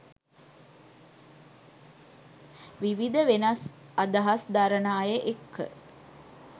විවිධ වෙනස් අදහස් දරන අය එක්ක.